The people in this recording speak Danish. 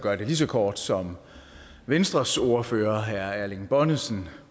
gøre det lige så kort som venstres ordfører herre erling bonnesen